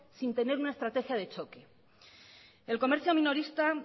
sin tener una estrategia de choque el comercio minorista